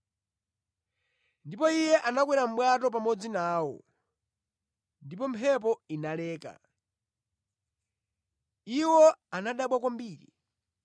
Ndipo Iye anakwera mʼbwato pamodzi nawo, ndipo mphepo inaleka. Iwo anadabwa kwambiri,